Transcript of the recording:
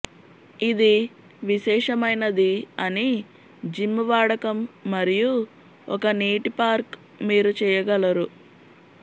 ఇది విశేషమైనది అని జిమ్ వాడకం మరియు ఒక నీటి పార్క్ మీరు చెయ్యగలరు